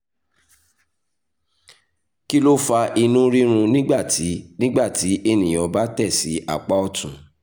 kí ló fa inú rírun nígbà tí nígbà tí ènìyàn bá tẹ̀ sí apá ọ̀tún?